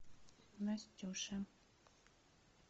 настюша